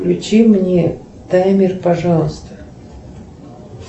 включи мне таймер пожалуйста